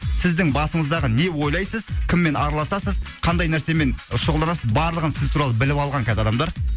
сіздің басыңыздағы не ойлайсыз кіммен араласасыз қандай нәрсемен шұғылданасыз барлығын сіз туралы біліп алған қазір адамдар